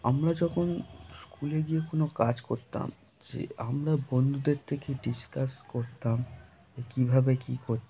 আমরা যখন স্কুলে গিয়ে কোন কাজ করতাম যে আমরা বন্ধুদের থেকে ডিসকাস করতাম যে কিভাবে কি কর--